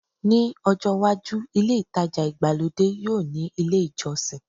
Ní ọjọ́ iwájú, ilé ìtajà ìgbàlódé yóò ní ilé ìjọsìn